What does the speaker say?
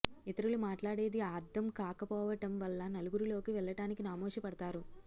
ఇతరులు మాట్లాడేది ఆర్థం కాకపోవటం వల్ల నలుగురిలోకి వెళ్లటానికి నామోషీ పడతారు